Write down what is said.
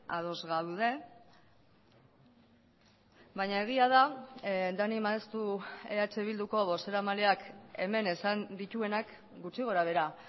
ados gaude baina egia da dani maeztu eh bilduko bozeramaileak hemen esan dituenak gutxi gora behera